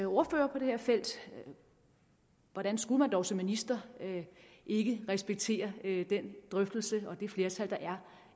ordfører på det her felt at hvordan skulle man dog som minister ikke respektere den drøftelse og det flertal der er